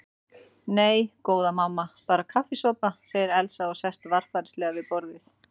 Nei, góða mamma, bara kaffisopa, segir Elsa og sest varfærnislega við borðið.